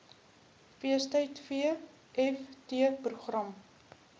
feestyd vft program